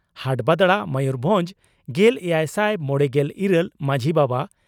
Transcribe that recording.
ᱦᱟᱴᱵᱟᱫᱽᱲᱟ ᱢᱚᱭᱩᱨᱵᱷᱚᱸᱡᱽ ᱾ᱜᱮᱞ ᱮᱭᱟᱭ ᱥᱟᱭ ᱢᱚᱲᱮᱜᱮᱞ ᱤᱨᱟᱹᱞ ᱹ ᱢᱟᱡᱷᱤ ᱵᱟᱵᱟ